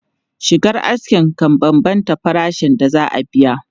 Shigar aski kan bambanta farashin da za a biya.